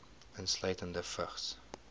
insluitende vigs